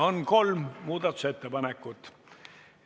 On kolm muudatusettepanekut.